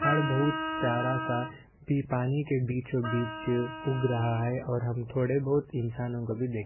झाड़ बहुत-स् प्यारा सा पी पानी के बीचों-बीच उग रहा हैं और हम थोड़े बहुत इंसानों को भी देख --